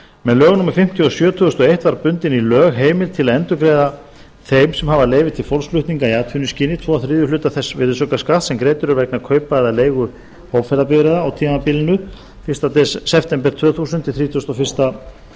með lögum númer fimmtíu og sjö tvö þúsund og eitt var bundin í lög heimild til að endurgreiða þeim sem hafa leyfi til fólksflutninga í atvinnuskyni tvo þriðju hluta þess virðisaukaskatts sem greiddur er vegna kaupa eða leigu hópferðabifreiða á tímabilinu fyrsta september tvö þúsund til þrítugasta og fyrsta